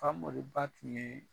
Famori ba tun ye